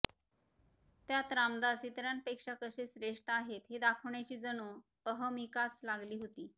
त्यात रामदास इतरांपेक्षा कसे श्रेष्ठ आहेत हे दाखवण्याची जणू अहमहिकाच लागली होती